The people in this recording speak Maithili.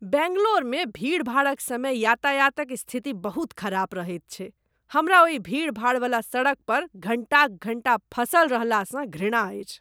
बैंगलोरमे भीड़भाड़क समय यातायातक स्थिति बहुत खराब रहैत छै। हमरा ओहि भीड़भाड़ बला सड़क पर घण्टाक घण्टा फँसल रहलासँ घृणा अछि।